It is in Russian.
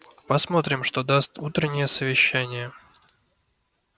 посмотрим что даст утреннее совещание